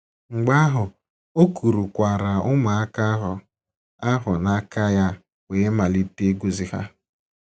Mgbe ahụ, “ o kurukwaara ụmụaka ahụ ahụ n’aka ya wee malite ịgọzi ha. ”